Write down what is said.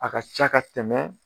A ka ca ka tɛmɛ